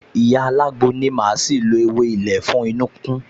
Ìyá alágbo ní màá ṣì lo ewé ilé fún inu-kíkún